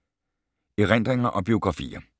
Erindringer og biografier